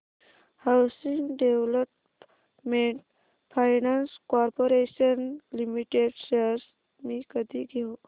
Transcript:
housing development finance corporation limited shares मी कधी घेऊ